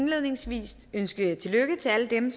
indledningsvis ønske tillykke til alle dem